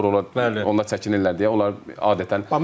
Onlar çəkinirlər deyə onlar adətən